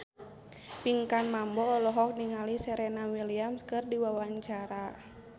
Pinkan Mambo olohok ningali Serena Williams keur diwawancara